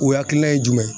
O hakilina ye jumɛn ye